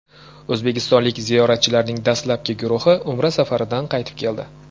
O‘zbekistonlik ziyoratchilarning dastlabki guruhi umra safaridan qaytib keldi.